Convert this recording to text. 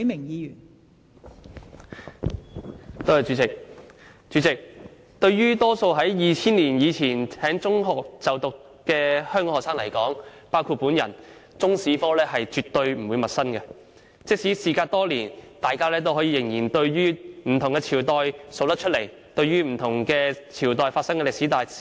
代理主席，對於大多數於2000年以前在中學就讀的香港學生來說，中國歷史科絕不陌生，即使事隔多年，大家仍可說出不同朝代發生的歷史大事。